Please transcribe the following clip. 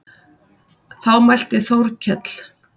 Þá mælti Þórkell